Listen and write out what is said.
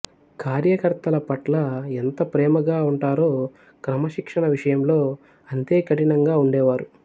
కార్యకర్తల పట్ల ఎంత ప్రేమగా ఉంటారో క్రమశిక్షణ విషయంలో అంతే కఠినంగా ఉండేవారు